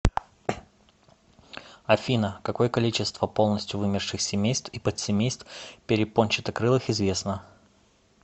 афина какое количество полностью вымерших семейств и подсемейств перепончатокрылых известно